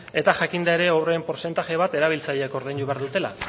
eta jakinda ere horren portzentaje bat erabiltzaileek ordaindu behar dutela